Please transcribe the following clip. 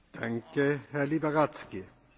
Dziękuję bardzo, Panie Przewodniczący!